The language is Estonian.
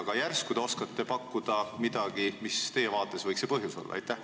Aga järsku te oskate pakkuda midagi, mis võiks teie vaates see põhjus olla?